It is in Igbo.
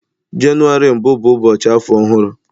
Jenụwarị mbụ bụ ụbọchị afọ ọhụrụ.